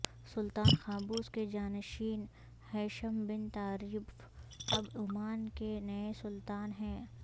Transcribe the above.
سلطان Qaboos کے جانشین Haitham bin Tariq اب عمان کے نئے سلطان ہیں